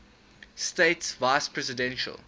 states vice presidential